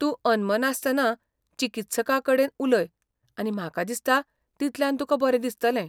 तूं अनमनासतना चिकित्सकाकडेन उलय आनी म्हाका दिसता तितल्यान तुका बरें दिसतलें.